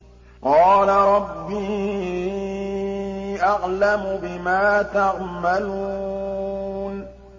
قَالَ رَبِّي أَعْلَمُ بِمَا تَعْمَلُونَ